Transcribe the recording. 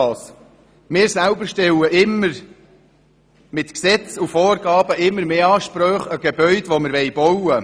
Wir stellen mit Gesetzen und Vorgaben immer mehr Ansprüche an Gebäude, die wir bauen wollen.